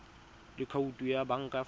le khoutu ya banka fa